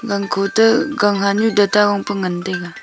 gangkho to gang han nyu gat gong pe ngan taga.